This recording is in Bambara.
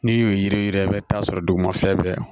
N'i y'o ye yiri yɛrɛ ye i bɛ taa sɔrɔ duguma fɛn bɛ